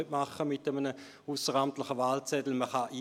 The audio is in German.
Dies ist mit einem ausseramtlichen Wahlzettel nicht machbar.